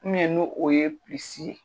Mɛ n'o o ye pisi ye